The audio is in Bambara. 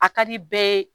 A ka di bɛɛ ye